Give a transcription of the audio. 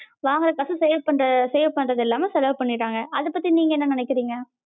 வாங்குற காச save பண்ற save பண்றது இல்லாம செலவு பண்ணிராங்க அத பத்தி நீங்க என்ன நெனைக்ரிங்க?